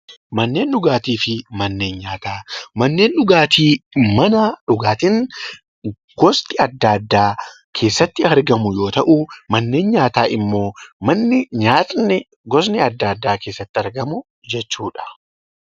Manneen dhugaatii fi manneen nyaataa Manneen dhugaatii mana dhugaatiin gosti addaa addaa keessatti argamu yoo ta'u, manneen nyaataa immoo mana nyaanni gosni addaa addaa keessatti argamu jechuudha.